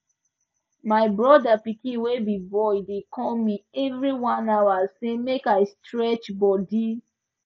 my brother pikin wey be boy dey call me every one hour say make i stretch body